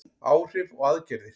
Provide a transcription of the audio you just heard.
Áhrif og aðgerðir.